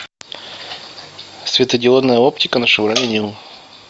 светодиодная оптика на шевроле ниву